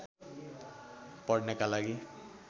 पढ्नका लागि